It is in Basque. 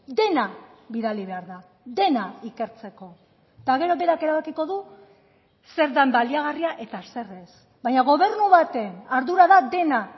dena bidali behar da dena ikertzeko eta gero berak erabakiko du zer den baliagarria eta zer ez baina gobernu baten ardura da dena